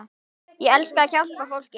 Ég elska að hjálpa fólki.